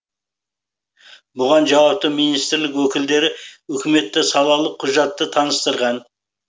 бұған жауапты министрлік өкілдері үкіметте салалық құжатты таныстырған